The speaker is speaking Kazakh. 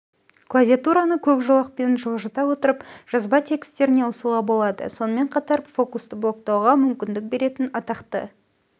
клавиатураны көк жолақпен жылжыта отырып жазба текстеріне ауысуға болады сонымен қатар фокусты блоктауға мүмкіндік беретін атақты